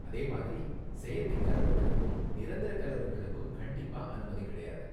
அதே மாதிரி, செயற்கை கலருங்களுக்கும் நிரந்தர கலருங்களுக்கும் கண்டிப்பா அனுமதி கிடையாது!